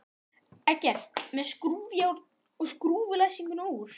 Eggert með skrúfjárn og skrúfaði læsinguna úr.